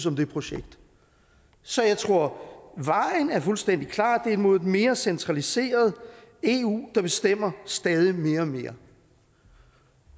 om det projekt så jeg tror at vejen er fuldstændig klar det er mod et mere centraliseret eu der bestemmer stadig mere og mere